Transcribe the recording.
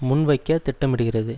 முன்வைக்க திட்டமிடுகிறது